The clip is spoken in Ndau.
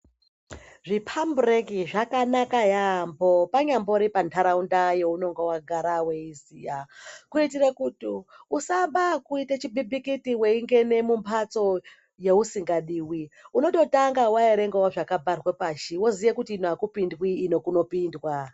Zvipabreki zvakanaka yaamho panyambori panharaunda younonga wagara weiziya kuitire kuti usaamba ngekuite chimbitikiti weingene mumbatso yousingadiwi unototanga waerengawo zvakabharwe pashi woziye kuti ino akupindwi ino kunopindwa.